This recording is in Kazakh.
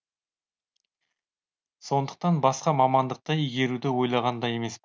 сондықтан басқа мамандықты игеруді ойлаған да емес